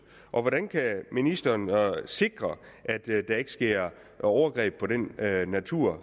hvordan kan ministeren sikre at der ikke sker overgreb på den natur